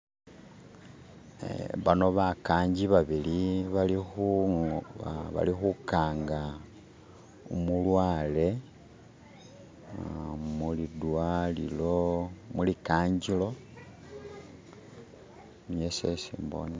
Banno bakanji babili bali kukanja umulware mu li kanjiro niyo isi se mbone.